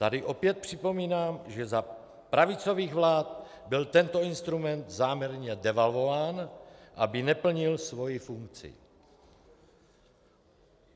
Tady opět připomínám, že za pravicových vlád byl tento instrument záměrně devalvován, aby neplnil svoji funkci.